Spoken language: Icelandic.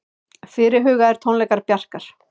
Fyrirhugaðir tónleikar Bjarkar